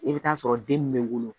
I bɛ taa sɔrɔ den min bɛ wolo